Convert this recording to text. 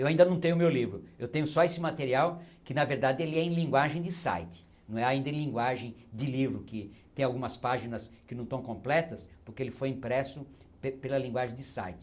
Eu ainda não tenho meu livro, eu tenho só esse material, que na verdade ele é em linguagem de site, não é ainda em linguagem de livro, que tem algumas páginas que não estão completas, porque ele foi impresso pela linguagem de site.